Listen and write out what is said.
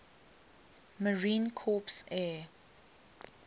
marine corps air